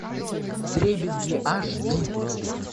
вдребезги аш ди